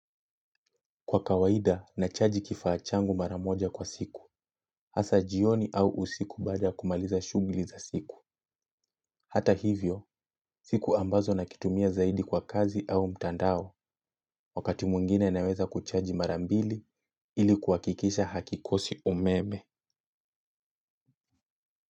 Kwa kawaida, nachaji kifaa changu maramoja kwa siku, hasa jioni au usiku baada kumaliza shughuli za siku. Hata hivyo, siku ambazo nakitumia zaidi kwa kazi au mtandao, wakati mwingine naweza kuchaji mara mbili ili kuhakikisha hakikosi umeme.